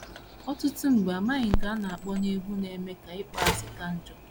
Ọtụtụ mgbe, amaghị nke a na - akọ na egwu na - emekwa ka ịkpọasị ka njọ.